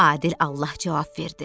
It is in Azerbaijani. Adil Allah cavab verdi.